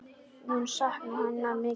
Mun sakna hennar mikið.